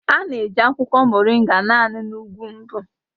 A na-eji akwụkwọ Moringa naanị na ugwu mbụ